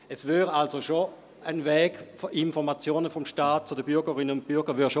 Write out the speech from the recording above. Es gäbe also schon einen funktionierenden Weg von Informationen des Staats zu den Bürgerinnen und Bürgern.